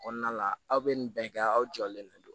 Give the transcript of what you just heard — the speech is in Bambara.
Kɔnɔna la aw bɛ nin bɛɛ kɛ aw jɔlen de don